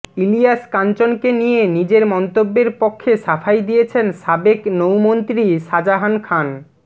ইলিয়াস কাঞ্চনকে নিয়ে নিজের মন্তব্যের পক্ষে সাফাই দিয়েছেন সাবেক নৌ মন্ত্রী শাজাহান খান